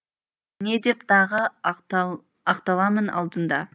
не деп тағы ақталамын алдыңда